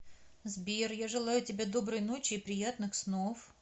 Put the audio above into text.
сбер я желаю тебе доброй ночи и приятных снов